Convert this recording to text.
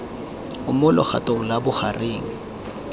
o mo legatong la bogareng